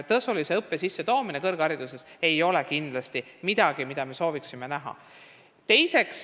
Tasulise õppe sissetoomine kõrgharidusse ei ole midagi, mida me sooviksime näha.